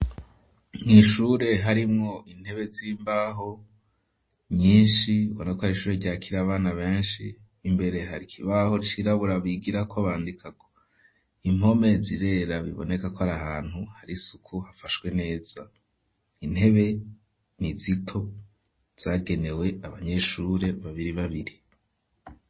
Mw'ishure harimwo intebe z'imbaho nyishi ubona ko hari ishure ryakira abana beshi imbere hari ikibaho cirabura bigirako bandikako impome zirezira biboneka ko ari ahantu hari isuku hafashwe neza intebe n'izito zagenewe abanyeshure babiri babiri.